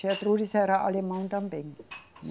Gertrudes era alemã também.